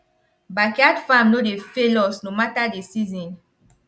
backyard farm no dey fail us no matter the season